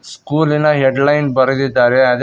ಸ್ಕೂಲಿನ headline ಬರೆದಿದ್ದಾರೆ ಅದೆ--